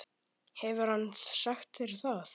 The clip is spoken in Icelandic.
Hefur hann sagt þér það?